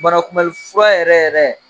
Banakunbɛnlifura yɛrɛ yɛrɛ